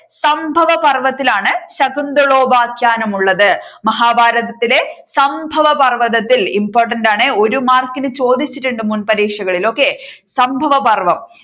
സംഭവപർവതത്തിലാണ് ശകുന്തളോപാഖ്യാനം ഉള്ളത്. മഹാഭാരതത്തിലെ സംഭവപർവതത്തിൽ important ആണേ ഒരു മാർക്കിന് ചോദിച്ചിട്ടുണ്ട് മുൻ പരീക്ഷകളിൽ okay